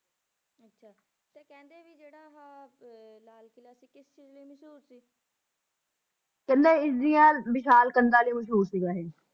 ਕਹਿੰਦੇ ਇਸਦੀਆਂ ਵਿਸ਼ਾਲ ਕੰਧਾਂ ਲਈ ਮਸ਼ਹੂਰ ਸੀਗਾ ਇਹ।